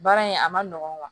Baara in a ma nɔgɔn